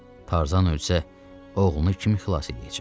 Tarzan ölsə, oğlunu kim xilas eləyəcək?